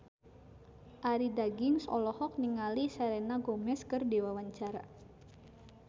Arie Daginks olohok ningali Selena Gomez keur diwawancara